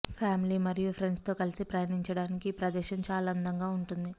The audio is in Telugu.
ఫ్యామిలి మరియు ఫ్రెండ్స్ తో కలిసి ప్రయాణించడానికి ఈ ప్రదేశం చాలా అందంగా ఉంటుంది